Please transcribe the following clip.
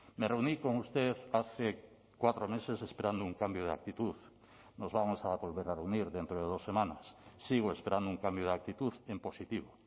me reuní con usted hace cuatro meses esperando un cambio de actitud nos vamos a volver a reunir dentro de dos semanas sigo esperando un cambio de actitud en positivo